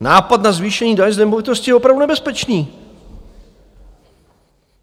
Nápad na zvýšení daně z nemovitosti je opravdu nebezpečný.